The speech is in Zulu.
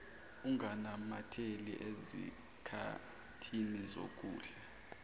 unganamatheli ezikhathini zokudla